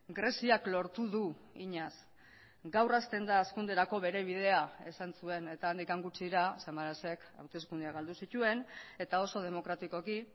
greziak lortu du eginaz gaur hasten da hazkunderako bere bidea esan zuen eta handik gutxira samarasek hauteskundeak galdu zituen eta oso demokratikoki